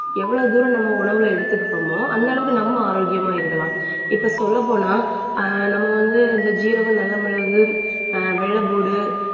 எவ்வளவு தூரம், நம்ம உணவுல எடுத்துக்கிட்டோமோ அந்த அளவுக்கு நம்ம ஆரோக்கியமா இருக்கலாம். இப்ப சொல்லப்போனா ஆஹ் நம்ம வந்து இந்த சீரகம், நல்ல மிளகு, ஆஹ் வெள்ளைப்பூண்டு